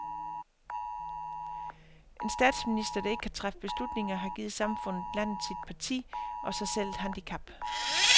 En statsminister, der ikke kan træffe beslutninger, har givet samfundet, landet, sit parti og sig selv et handicap.